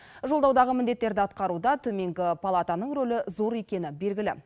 жолдаудағы міндеттерді атқаруда төменгі палатаның рөлі зор екені белгілі